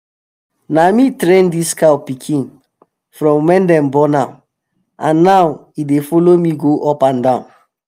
na me train this cow pikin from wen dey born am and now e dey follow me go up and down.